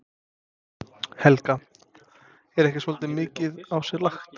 Helga: Er ekki svolítið mikið á sig lagt?